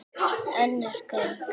Önnur gögn.